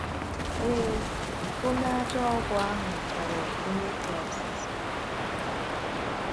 Ee, onye a ajọ ọgwụ ahụ ghọrọ Onye Kraịst.